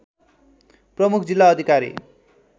प्रमुख जिल्ला अधिकारी